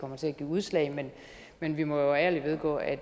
kommer til at give udslag men vi må ærligt vedgå at